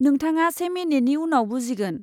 नोंथाङा से मिनिटनि उनाव बुजिगोन।